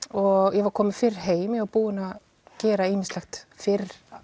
og ég var komin fyrr heim ég var búin að gera ýmislegt fyrr